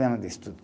Ano de estudo.